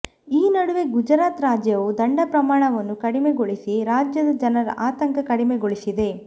ಈ ನಡುವೆ ಗುಜರಾತ್ ರಾಜ್ಯವು ದಂಡ ಪ್ರಮಾಣವನ್ನು ಕಡಿಮೆಗೊಳಿಸಿ ರಾಜ್ಯದ ಜನರ ಆತಂಕ ಕಡಿಮೆಗೊಳಿಸಿದೆ